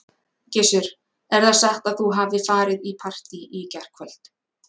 Gissur: Er það satt að þú hafir farið í partý í gærkvöld?